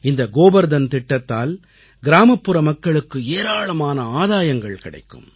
இந்த கோபர்தன் திட்டத்தால் கிராமப்புற மக்களுக்கு ஏராளமான ஆதாயங்கள் கிடைக்கும்